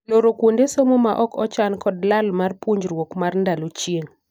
Loro kuonde somo ma ok ochan kod lal mar puonjruok mar ndalo chieng'.